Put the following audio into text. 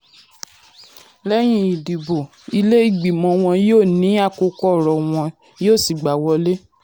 "lẹ́yìn ìdìbò ilé-ìgbìmò wọn yóò ní um àkókò ọ̀rọ̀ wọn yóò um sì gbàá wọlé." um